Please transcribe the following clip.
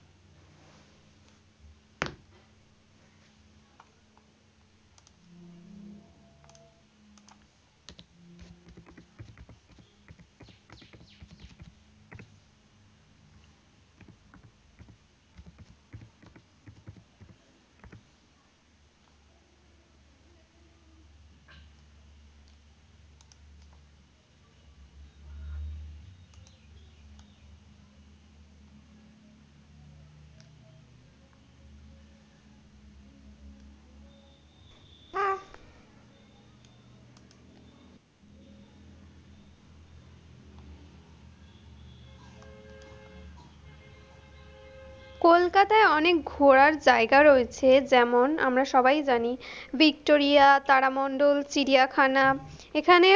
কলকাতায় অনেক ঘোরার জায়গা রয়েছে যেমন, আমরা সবাই জানি, ভিক্টোরিয়া, তারামণ্ডল, চিড়িয়াখানা, এখানে,